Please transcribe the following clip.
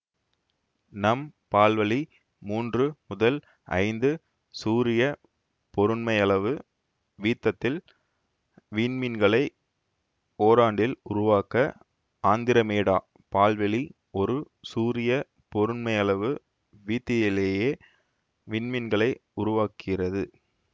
நம் பால்வழி மூன்று முதல் ஐந்து சூரிய பொருண்மையளவு வீத்தத்தில் விண்மீன்களை ஓராண்டில் உருவாக்க ஆந்திரமேடா பால்வெளி ஒரு சூரிய பொருண்மையளவு வீத்த்தியிலேயே விண்மீன்களை உருவாக்குகிறது